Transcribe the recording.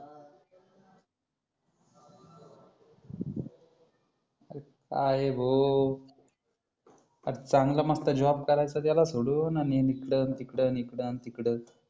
काय रे भाऊ अरे चांगला मस्त जॉब करायचा दिला सोडून आणि हिकडं तिकडं हिकडं तिकडं